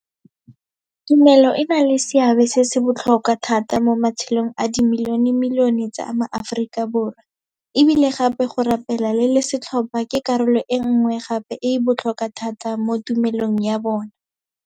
Tumelo e na le seabe se se botlhokwa thata mo matshelong a dimilionemilione tsa maAforika Borwa, e bile gape go rapela le le setlhopha ke karolo e nngwe gape e e botlhokwa thata mo tumelong ya bona.